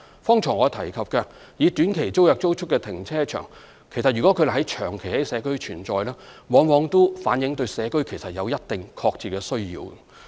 剛才我提及以短期租約租出的停車場，如它們長期在社區存在，往往也反映出社區對此有一定的確切需要。